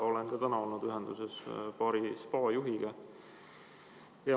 Olen ka täna olnud ühenduses paari spaa juhiga.